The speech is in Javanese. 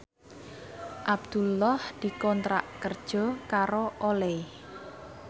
Abdullah dikontrak kerja karo Olay